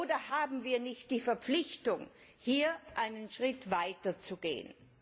Oder haben wir nicht die Verpflichtung, hier einen Schritt weiter zu gehen?